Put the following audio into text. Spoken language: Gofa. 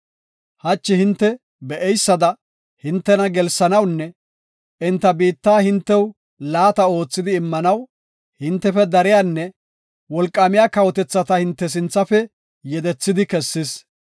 Hachi hinte be7eysada, hintena gelsanawunne enta biitta hintew laata oothidi immanaw, hintefe dariyanne wolqaamiya kawotethata hinte sinthafe yedethidi kessis.